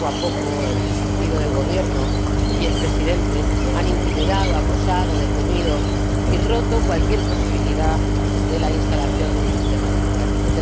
Poco a poco, el partido en el Gobierno y el Presidente han intimidado, acosado, detenido y roto cualquier posibilidad de instalación de un sistema democrático.